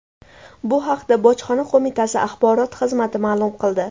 Bu haqda Bojxona qo‘mitasi axborot xizmati ma’lum qildi .